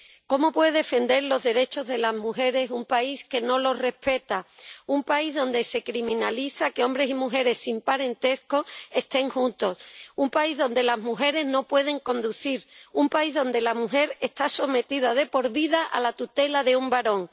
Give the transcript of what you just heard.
Cómo puede defender los derechos de las mujeres un país que no los respeta, un país donde se criminaliza que hombres y mujeres sin parentesco estén juntos, un país donde las mujeres no pueden conducir, un país donde la mujer está sometida de por vida a la tutela de un varón.